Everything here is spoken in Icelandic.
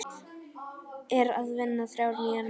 Er að vinna þrjár nýjar myndir.